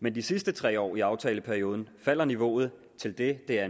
men de sidste tre år i aftaleperioden falder niveauet til det det er